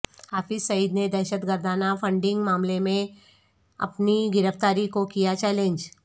حافظ سعید نے دہشت گردانہ فنڈنگ معاملے میںاپنی گرفتاری کوکیا چیلنج